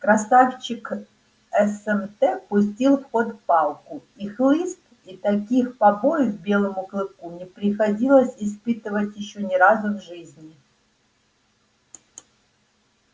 красавчик смт пустил в ход палку и хлыст и таких побоев белому клыку не приходилось испытывать ещё ни разу в жизни